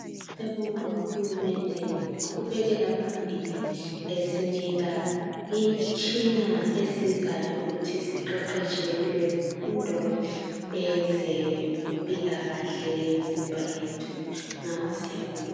Siyabonga uhulumende ngokuqhubekela phambili esinika imitshina esizayo ukuthi siqeqeshe kulezifundo ezempilakahle imizimba yethu ngakho siyabonga.